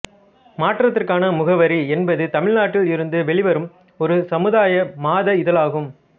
மாற்றத்திற்கான முகவரி என்பது தமிழ்நாட்டில் இருந்து வெளிவரும் ஒரு சமுதாய மாத இதழாகும்